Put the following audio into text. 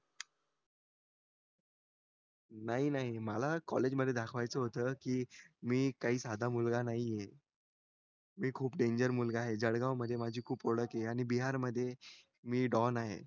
नाही नाही मला कॉलेजमध्ये दाखवायचं होतं की मी काही साधा मुलगा नाहीये मी खूप डेन्जर मुलगा आहे जळगाव मध्ये माझी खूप ओळख आहे आणि बिहारमध्ये मी डॉन आहे